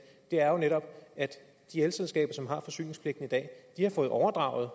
er jo netop at de elselskaber som har forsyningspligten i dag har fået overdraget